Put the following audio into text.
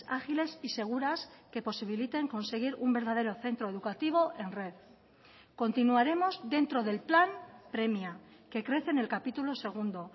ágiles y seguras que posibiliten conseguir un verdadero centro educativo en red continuaremos dentro del plan premia que crece en el capítulo segundo